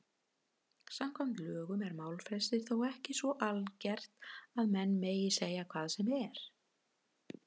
Samkvæmt lögum er málfrelsi þó ekki svo algert að menn megi segja hvað sem er.